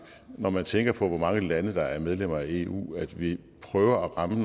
når man tænker på hvor mange lande der er medlemmer af eu at vi prøver at ramme